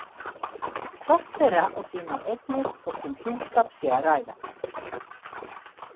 Hvort þeirra á sínar eignir þótt um hjúskap sé að ræða.